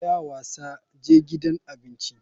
Tsaya wasa, je gidan abinci.